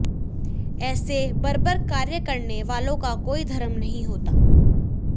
ऐसे बर्बर कार्य करने वालों का कोई धर्म नहीं होता